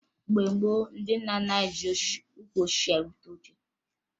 Mgbe gboo, ndị nna nna anyị ji ukwu osisi rupụta oche